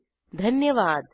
सहभागासाठी धन्यवाद